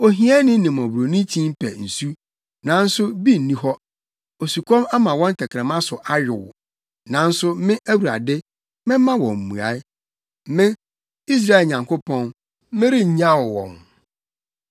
“Ohiani ne mmɔborɔni kyin pɛ nsu, nanso bi nni hɔ; osukɔm ama wɔn tɛkrɛma so ayow. Nanso me Awurade, mɛma wɔn mmuae. Me, Israel Nyankopɔn, merennyaw wɔn.